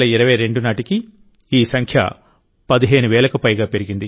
2022 నాటికి ఈ సంఖ్య 15 వేలకు పైగా పెరిగింది